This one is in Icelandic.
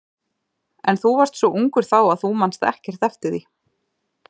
En þú varst svo ungur þá að þú manst ekkert eftir því.